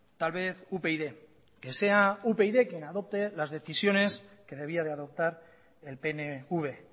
tal vez upyd que sea upyd quien adopte las decisiones que debía de adoptar el pnv